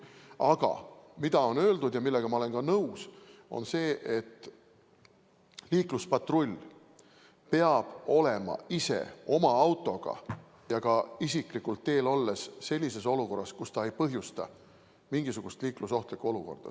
Aga on öeldud ja ma olen sellega nõus, et liikluspatrull peab ise oma autoga ja isiklikult teel olles olema sellises olukorras, kus ta ei põhjusta mingisugust liiklusohtlikku olukorda.